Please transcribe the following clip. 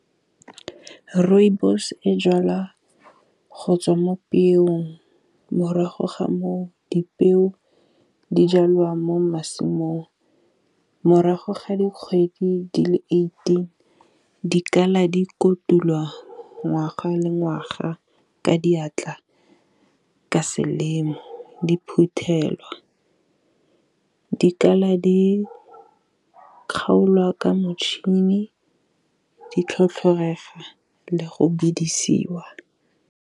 Rooibos e jalwa go tswa mo peong morago ga moo dipeo di jalwa mo masimong. Morago ga dikgwedi di le eighteen dikala di kotulwa ngwaga le ngwaga ka diatla ka selemo, di phuthelwa. Dikala di kgaolwa ka motšhini di tlhotlhorega le go bidisiwa.